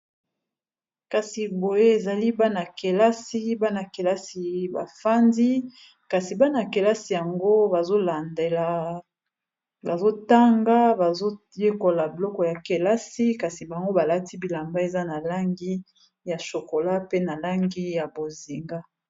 kasi boye ezali bana-kelasi bana-kelasi bafandi kasi bana-kelasi yango bazolandela bazotanga bazoyekola bloko ya kelasi kasi bango balati bilamba eza na langi ya shokola pe na langi ya bozinga